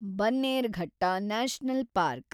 Bannerghatta national park